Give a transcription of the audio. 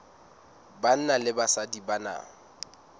banna le basadi ba na